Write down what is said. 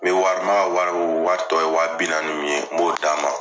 N bɛ wari n b'a ka wari wari tɔ ye waa binaani min ye n b'o d'a ma